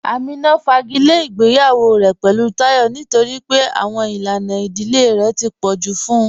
Amínà fàgílẹ̀ ìgbèyawọ̀ rẹ̀ pẹ̀lú Táyọ̀ nítorí pé àwọn ilànà ìdílẹ̀ rẹ̀ tó pọ̀ ju fún ụ